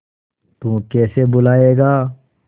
तू कैसे भूलाएगा